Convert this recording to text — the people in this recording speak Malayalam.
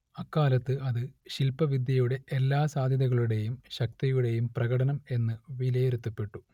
അക്കാലത്ത് അത് ശില്പവിദ്യയുടെ എല്ലാ സാധ്യതകളുടേയും ശക്തിയുടേയും പ്രകടനം എന്ന് വിലയിരുത്തപ്പെട്ടു